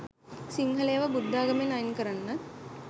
සිංහලයව බුද්ධාගමෙන් අයින් කරන්නත්